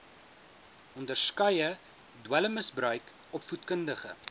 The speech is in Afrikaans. onderskeie dwelmmisbruik opvoedkundige